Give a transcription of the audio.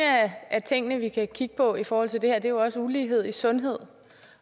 af tingene vi kan kigge på i forhold til det her er også ulighed i sundhed